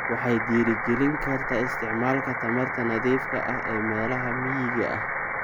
Waxay dhiirigelin kartaa isticmaalka tamarta nadiifka ah ee meelaha miyiga ah.